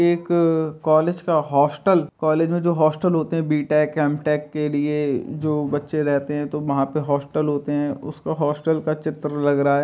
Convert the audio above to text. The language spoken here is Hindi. एक कॉलेज का हॉस्टल कॉलेज में जो हॉस्टल होते है बी-टेक एम-टेक के लिए जो बच्चे रहते हैं तो वहां पर हॉस्टल होते हैं उस होस्टल का चित्र लग रहा है।